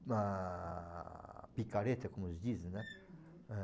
Uma picareta, como dizem, né? É.